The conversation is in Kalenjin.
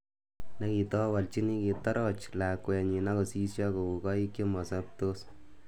Nekitowolchini, kitoroch lakwenyi akosisyo kou koik chemasobtos